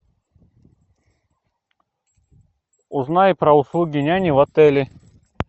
узнай про услуги няни в отеле